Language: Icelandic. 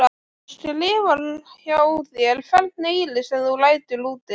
Og skrifar hjá þér hvern eyri sem þú lætur úti?